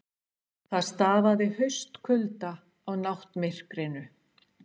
Það stafaði haustkulda af náttmyrkrinu.